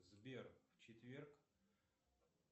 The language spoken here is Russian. сбер в четверг